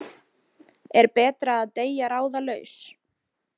Er betra að deyja ráðalaus?